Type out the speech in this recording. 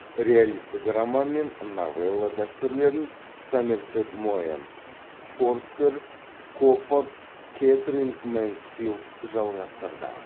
реалистік роман мен новелла дәстүрлерін сомерсет моэм форстер коппард кэтрин мэнсфилд жалғастырды